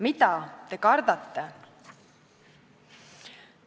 Mida te kardate?